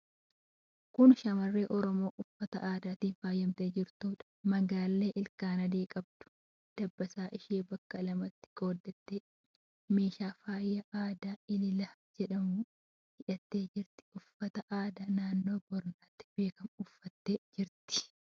Kun shamarree Oromoo uffata aadaatiin faayamtee jirtuudha. Magaallee ilkaan adii qabdu, dabbasaa ishee bakka lamatti qooddattee, meeshaa faayaa aadaa elellaa jedhamuun hidhattee jirti. Uffata aadaa naannoo Booranaatti beekamu uffattee jirti.